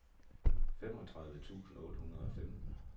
femogtredive tusind otte hundrede og femten